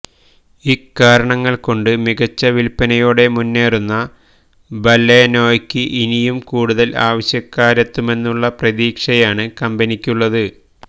ഇക്കാരണങ്ങൾ കൊണ്ട് മികച്ച വില്പനയോടെ മുന്നേറുന്ന ബലെനോയ്ക്ക് ഇനിയും കൂടുതൽ ആവശ്യക്കാരെത്തുമെന്നുള്ള പ്രതീക്ഷയാണ് കമ്പനിക്കുള്ളത്